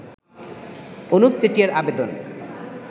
অনুপ চেটিয়ার আবেদন